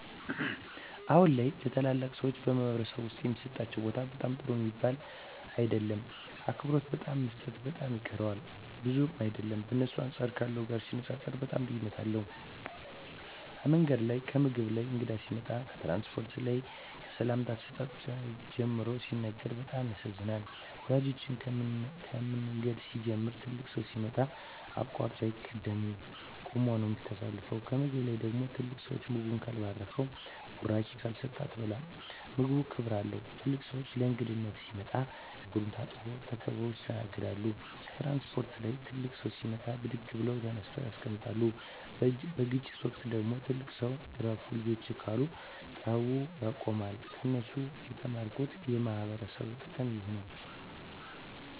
አሁን ላይ ለተላላቅ ሰዎች በማኅበረሰብ ዉስጥ የሚሠጣቸው ቦታ በጣም ጥሩ ሚባል ነዉም አይደለም አክብሮት በጣም መሰጠት በጣም ይቀረዋል ብዙም አይደለም በእነሱ አንጻር ካለው ጋር ሲነጻጽጽሩት በጣም ልዩነት አለዉ ከምንገድ ላይ ከምግብ ላይ ከእንግዳ ሲመጣ ከትራንስፖርት ላይ ከሰላምታ አሰጣጥ ጨምሮ ሲነግሩን በጣም ያሳዝናል ወላጆቻችን ከምንገድ ሲንጀምሩ ትልቅ ሠው ሲመጣ አቃርጦ አይቂድም ቁመ ነው ምታሳልፈው ከምግብ ላይ ደግሞ ትልቅ ሰው ምግቡን ካልባረከዉና ብራቂ ካልሰጠ አትበላም ምግቡም ክብር አለው ትልቅ ሰው ለእንግዳነት ሲመጣ እግሩን ታጥቦ ተከብረው ይስተናገዳሉ ከትራንስፖርት ላይ ትልቅ ሰው ሲመጣ ብድግ ብለው ተነስተው ያስቀምጣሉ በግጭት ወቅት ደግሞ ትልቅ ሰው እረፍ ልጆቸ ካሉ ጠቡ ውላ ያቆማሉ ከነሱ የተማርኩት የማክበር ጥቅም ነው